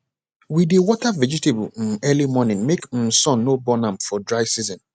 we dey water vegetable um early morning make um sun no burn am for dry season